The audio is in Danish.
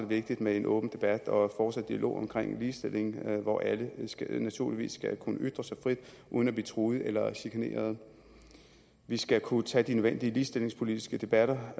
vigtigt med en åben debat og fortsat dialog omkring ligestilling hvor alle naturligvis skal kunne ytre sig frit uden at blive truet eller chikaneret vi skal kunne tage de nødvendige ligestillingspolitiske debatter